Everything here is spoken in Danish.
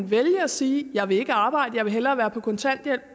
vælge at sige jeg vil ikke arbejde jeg vil hellere være på kontanthjælp